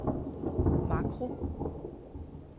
makro